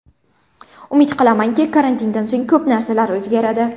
Umid qilamanki, karantindan so‘ng ko‘p narsalar o‘zgaradi.